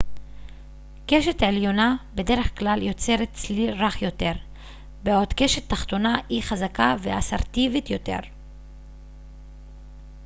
קשת עליונה בדרך כלל יוצרת צליל רך יותר בעוד קשת תחתונה היא חזקה ואסרטיבית יותר